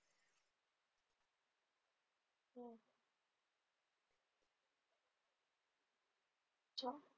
अच्छा.